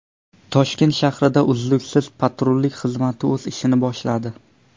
Toshkent shahrida uzluksiz patrullik xizmati o‘z ishini boshladi.